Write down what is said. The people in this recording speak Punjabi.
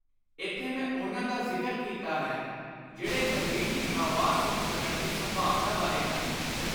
ਏਥੇ ਮੈਂ ਉਨ੍ਹਾਂ ਦਾ ਜ਼ਿਕਰ ਕੀਤਾ ਹੈ ਜਿਹੜੇ ਜ਼ਮੀਰ ਦੀ ਆਵਾਜ਼ ਸੁਣ ਸਕਣ ਦੀ ਸੰਭਾਵਨਾ ਵਾਲੇ ਹਨ।